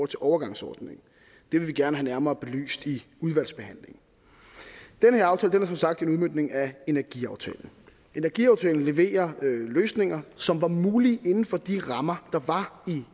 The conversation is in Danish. til overgangsordningen det vil vi gerne have nærmere belyst i udvalgsbehandlingen den her aftale er som sagt en udmøntning af energiaftalen energiaftalen leverer løsninger som var mulige inden for de rammer der var